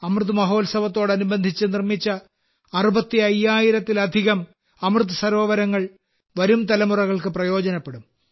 അമൃത് മഹോത്സവത്തോടനുബന്ധിച്ച് നിർമ്മിച്ച 65000ത്തിലധികം അമൃത് സരോവരങ്ങൾ വരും തലമുറകൾക്ക് പ്രയോജനപ്പെടും